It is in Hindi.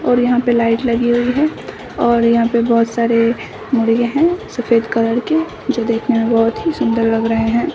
और यहाँ पे लाइट लगी हुई हैं और यहाँ पे बहुत सारे मुर्गे हैं सफेद कलर के जो देखने में बहुत ही सुंदर लग रहे हैं।